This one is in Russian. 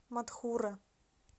матхура